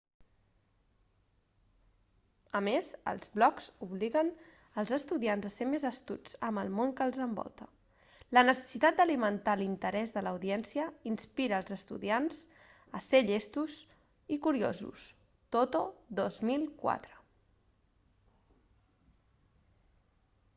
a més els blogs obliguen els estudiants a ser més astuts amb el món que els envolta". la necessitat d'alimentar l'interès de l'audiència inspira als estudiants a ser llestos i curiosos toto 2004